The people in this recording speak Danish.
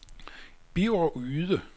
Birger Yde